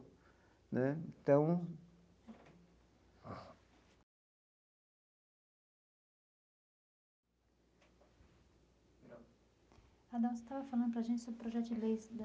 Né então... Adão, você estava falando para a gente sobre o projeto de leis da.